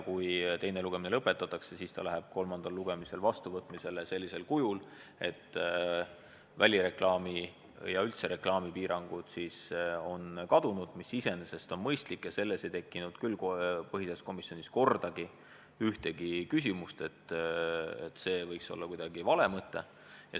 Kui teine lugemine lõpetatakse, siis läheb see eelnõu kolmandal lugemisel vastuvõtmisele sellisel kujul, et välireklaami- ja muud reklaamipiirangud on kadunud, mis iseenesest on mõistlik – selles asjas ei tekkinud põhiseaduskomisjonis küll kordagi ühtegi küsimust, et see võiks kuidagi vale mõte olla.